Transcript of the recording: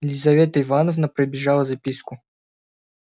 лизавета ивановна пробежала записку